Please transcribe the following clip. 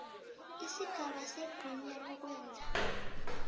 isigaba segunya lokwenza